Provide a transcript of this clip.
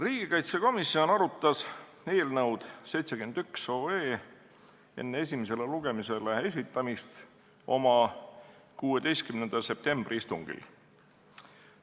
Riigikaitsekomisjon arutas eelnõu 71 enne esimesele lugemisele esitamist oma 16. septembri istungil.